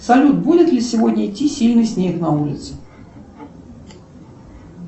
салют будет ли сегодня идти сильный снег на улице